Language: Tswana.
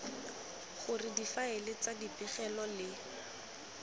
gore difaele tsa dipegelo le